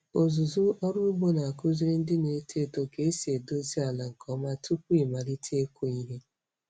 Ọzụzụ ọrụ ugbo na-akụziri ndị na-eto eto ka esi edozi ala nke ọma tupu ịmalite ịkụ ihe.